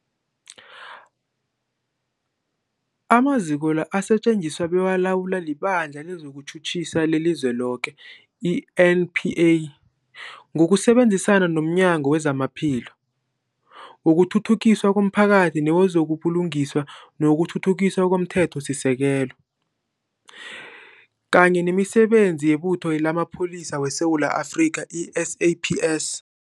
Amaziko la asetjenziswa bekalawulwa liBandla lezokuTjhutjhisa leliZweloke, i-NPA, ngokusebenzisana nomnyango wezamaPhilo, wokuthuthukiswa komphakathi newezo buLungiswa nokuThuthukiswa komThethosisekelo, kunye nemiSebenzi yeButho lamaPholisa weSewula Afrika, i-SAPS.